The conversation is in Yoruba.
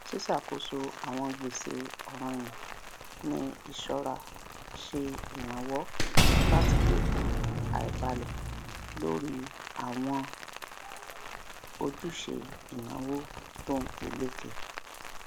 ṣíṣàkóso àwọn gbèsè ọrànyàn ní iṣọra ṣe iranlọwọ láti dínkù àìbálẹ lórí àwọn ojúṣe ináwó tónpeléke